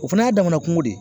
O fana y'a damana kungo de ye.